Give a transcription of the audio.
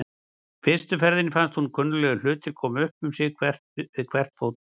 Í fyrstu ferðinni fannst honum kunnuglegir hlutir koma upp um sig við hvert fótmál.